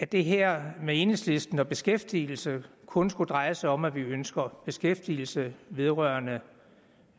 det her med enhedslisten og beskæftigelsen kun skulle dreje sig om at vi ønsker beskæftigelse vedrørende